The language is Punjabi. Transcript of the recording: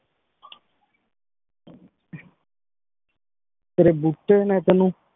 ਤੇਰੀ ਬੁਗਤੀ ਨੇ ਤੇਨੁ